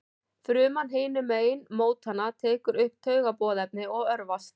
Fruman hinum megin mótanna tekur upp taugaboðefnið og örvast.